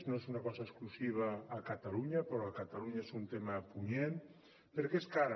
no és una cosa exclusiva a catalunya però a catalunya és un tema punyent perquè és cara